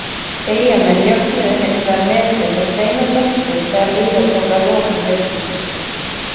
Eyjamenn jöfnuðu hins vegar metin með tveimur mörkum þegar líða tók að lokum leiksins.